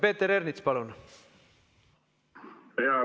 Peeter Ernits, palun!